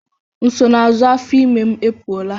Nsonaazụ afọ ime m apụọla.